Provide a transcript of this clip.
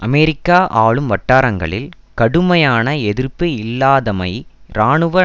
அமெரிக்க ஆளும் வட்டாரங்களில் கடுமையான எதிர்ப்பு இல்லாதமை இராணுவ